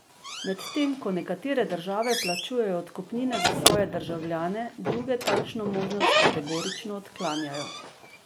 Medtem ko nekatere države plačujejo odkupnine za svoje državljane, druge takšno možnost kategorično odklanjajo.